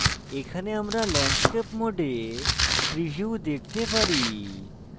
এখানে আমরা landscape মোডে preview দেখতে পারি